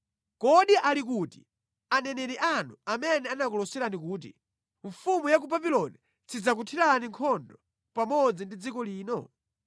Kodi ali kuti aneneri anu amene anakuloserani kuti, ‘Mfumu ya ku Babuloni sidzakuthirani nkhondo pamodzi ndi dziko lino’?